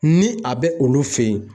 Ni a bɛ olu fɛ yen.